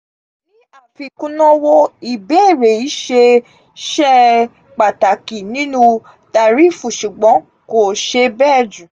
ní àfi kunowó ìbéèrè iṣẹ ṣe pàtàkì nínú tàríìfù ṣùgbọ́n kò ṣe bẹ jù